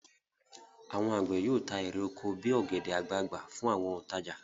Àwọn àgbẹ̀ yóò ta èrè oko bí i ọ̀gẹ̀dẹ̀ àgbagbà fún àwọn òǹtajà.